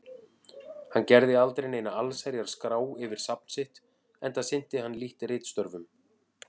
En hann gerði aldrei neina allsherjar-skrá yfir safn sitt, enda sinnti hann lítt ritstörfum.